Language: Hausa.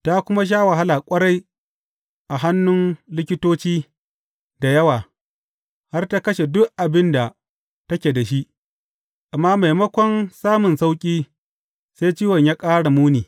Ta kuma sha wahala ƙwarai a hannun likitoci da yawa, har ta kashe duk abin da take da shi, amma maimakon samun sauƙi, sai ciwon ya ƙara muni.